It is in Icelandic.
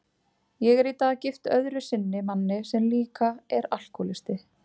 Ég er í dag gift öðru sinni manni sem líka er alkohólisti.